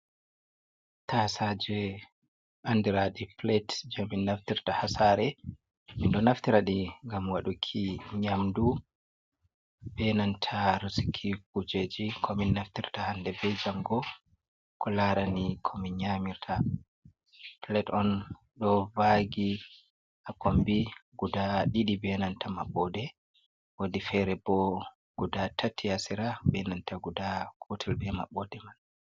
Tasaje andraɗi pilet jemin naftirta hasare, mindo naftiraɗi gam waɗuki nyamdu benanta resuki kujeji komin naftirta hande be jango, ko larani komin nyamirta. Pilet on do vagi a kombi guda ɗiɗi benanta maɓode wodi fere bo guda tatti hasira benanta guda gotel be mabode man.